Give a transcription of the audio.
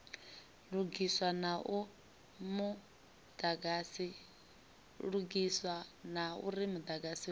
lugiswa na uri mudagasi u